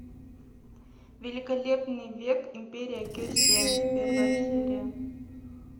великолепный век империя кесем первая серия